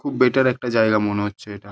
খুব বেটার একটা জায়গা মনে হচ্ছে এটা।